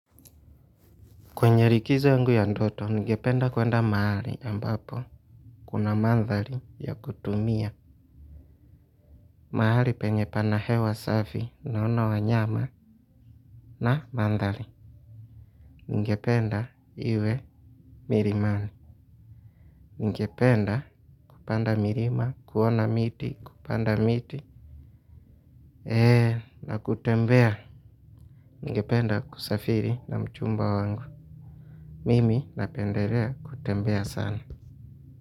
Kwenye likizo yangu ya ndoto, ningependa kwenda mahali ambapo. Kuna mandhari ya kutumia. Mahali penye pana hewa safi, naona wanyama, na mandhari. Ningependa iwe milimani. Ngependa kupanda mirima, kuona miti, kupanda miti. Eee, na kutembea. Ngependa kusafiri na mchumba wangu. Mimi napendelea kutembea sana.